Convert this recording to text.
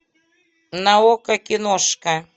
на окко киношка